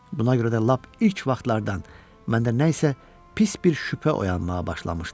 Buna görə də lap ilk vaxtlardan məndə nə isə pis bir şübhə oyanmağa başlamışdı.